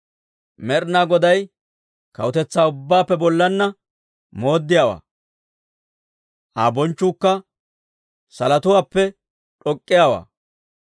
Med'inaa Goday kawutetsaa ubbaappe bollaanna mooddiyaawaa; Aa bonchchuukka salotuwaappe d'ok'k'iyaawaa.